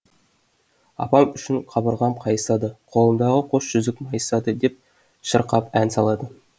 апам үшін қабырғам қайысады қолымдағы қос жүзік майысады деп шырқап ән салады